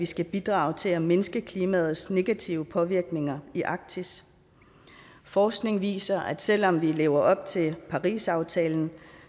skal bidrage til at mindske klimaets negative påvirkninger i arktis forskningen viser at selv om vi lever op til parisaftalen